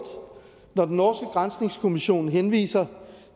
når den norske granskningskommission henviser